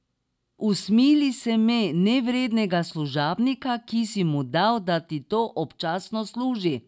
Usmili se me, nevrednega služabnika, ki si mu dal, da ti občasno služi.